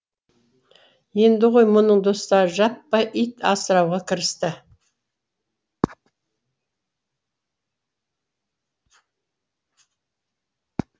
енді ғой мұның достары жаппай ит асырауға кірісті